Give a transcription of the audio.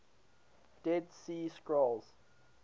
dead sea scrolls